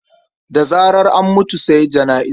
Da zarar an mutu sai jana'iza.